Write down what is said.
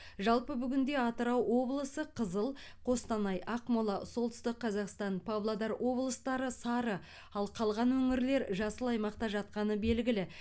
жалпы бүгінде атырау облысы қызыл қостанай ақмола солтүстік қазақстан павлодар облыстары сары ал қалған өңірлер жасыл аймақта жатқаны белгілі